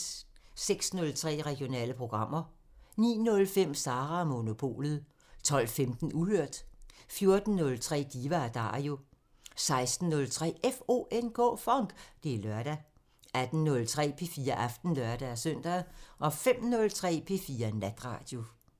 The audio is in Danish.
06:03: Regionale programmer 09:05: Sara & Monopolet 12:15: Uhørt 14:03: Diva & Dario 16:03: FONK! Det er lørdag 18:03: P4 Aften (lør-søn) 05:03: P4 Natradio